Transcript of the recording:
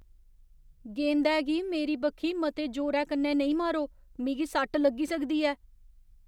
गेंदै गी मेरी बक्खी मते जोरै कन्नै नेईं मारो। मिगी सट्ट लग्गी सकदी ऐ।